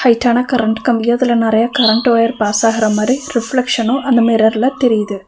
ஹைட்டான current கம்பி அதுல நறையா கரண்ட் ஒயர் பாஸ் ஆகுற மாரி ரிஃப்ளக்ஷனு அந்த மிரர்ல தெரியுது.